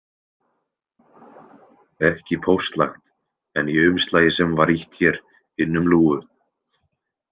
Ekki póstlagt en í umslagi sem var ýtt hér inn um lúgu.